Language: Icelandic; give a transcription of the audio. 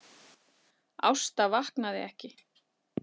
Ásta vaknaði ekki.